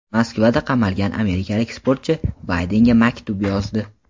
Moskvada qamalgan amerikalik sportchi Baydenga maktub yozdi.